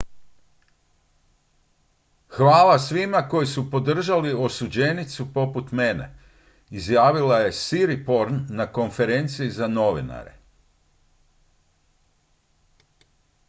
"""hvala svima koji su podržali osuđenicu poput mene" izjavila je siriporn na konferenciji za novinare.